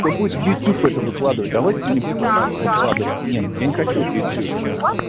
кто будет в ютуб это выкладывать давайте не будем это выкладывать нет я не хочу в ютюбе у вас